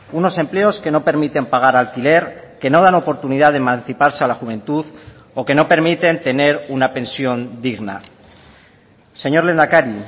unos empleos que no permiten pagar alquiler que no dan oportunidad de emanciparse a la juventud o que no permiten tener una pensión digna señor lehendakari